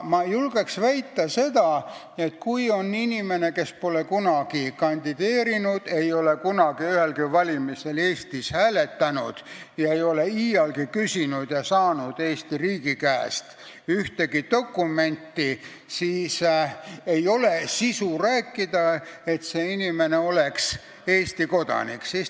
Ma julgen väita seda, et kui me võtame inimese, kes pole kunagi kandideerinud, ei ole kunagi Eestis ühelgi valimisel hääletanud, ei ole iialgi küsinud ega saanud Eesti riigi käest ühtegi dokumenti, siis ei saa sisuliselt rääkida sellest, et see inimene oleks Eesti kodanik.